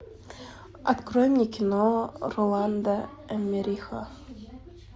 открой мне кино роланда эммериха